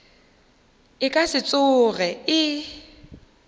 e ka se tsoge e